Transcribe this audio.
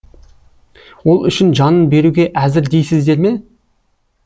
ол үшін жанын беруге әзір дейсіздер ме